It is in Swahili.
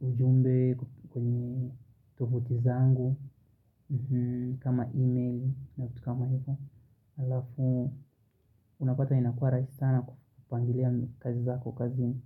ujumbe kwenye tofuti zangu. Kama email na vitu kama hivyo alafu unapata inakuwa rahisi sana kupangilia kazi zako kazini.